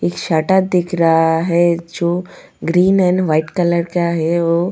एक शर्टर दिख रहा है जो ग्रीन एंड वाइट कलर का है वो.